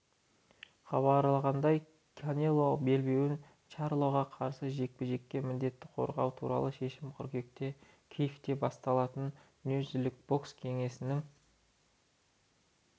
хабарлағандай канелоның белбеуін чарлоға қарсы жекпе-жекте міндетті қорғауы туралы шешім қыркүйекте киевте басталатын дүниежүзілік бокс кеңесінің